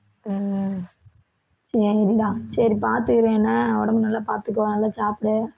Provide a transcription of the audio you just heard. உம் சரிடா சரி பாத்து இரு என்ன உடம்பை நல்லா பாத்துக்க நல்லா சாப்பிடு